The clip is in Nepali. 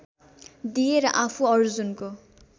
दिए र आफू अर्जुनको